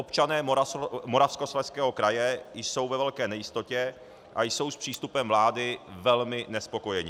Občané Moravskoslezského kraje jsou ve velké nejistotě a jsou s přístupem vlády velmi nespokojeni.